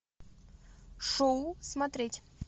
шоу смотреть